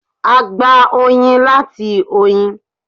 A gbà oyin láti oyin.